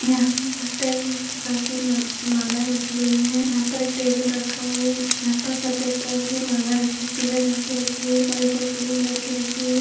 यहाँ पर कई प्रकार की म मालाएं रखी गई हैं यहाँ पर एक टेबल रखा हुआ है यहाँ पर सफेद रंग की माला रखी पीले रंग की रखी हुई और एक और पीले रंग की रखी हुई है।